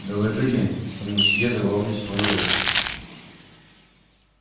доложили что мусье давал мне свой урок